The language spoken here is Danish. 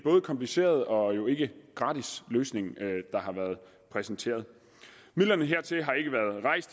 kompliceret og jo ikke gratis løsning der har været præsenteret midlerne hertil har